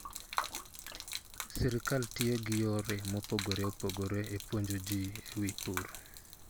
Sirkal tiyo gi yore mopogore opogore e puonjo ji e wi pur.